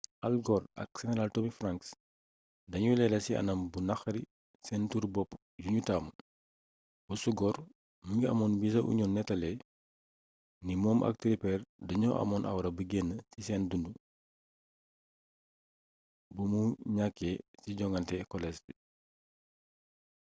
al gore ak seneraal tommy franks dañuy leeral ci anam bu naqari seen turu-bopp yuñu taamu bosu gore mu ngi amoon bi the onion nettalee ni moom ak tipper dañoo amoon awra bi gën ci seen dundu bu mu ñakkee ci joŋnate kolees bi